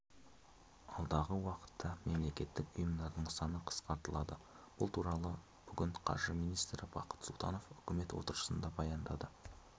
алдағы уақытта мемлекеттік ұйымдардың саны қысқартылады бұл туралы бүгін қаржы министрі бақыт сұлтанов үкімет отырысында баяндады